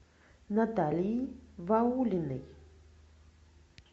наталии ваулиной